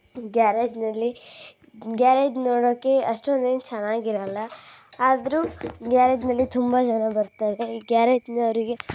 ಗ್ಯಾರೇಜ್ನಳ್ಳಿ garage ನೋಡೋಕೆ ಅಷ್ಟೊಂದ್ ಎನ್ನ ಚೆನ್ನಾಗ್ ಇರಲ್ಲ ಆದ್ರೂ ಗ್ಯಾರೇಜ್ ಗೆ ತುಂಬಜಾನಾ ಬರ್ತಾರರೇ .